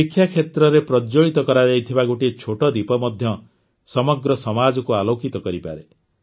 ଶିକ୍ଷା କ୍ଷେତ୍ରରେ ପ୍ରଜ୍ୱଳିତ କରାଯାଇଥିବା ଗୋଟିଏ ଛୋଟ ଦୀପ ମଧ୍ୟ ସମଗ୍ର ସମାଜକୁ ଆଲୋକିତ କରିପାରେ